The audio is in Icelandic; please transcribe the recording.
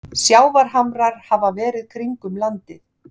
sjávarhamrar hafa verið kringum landið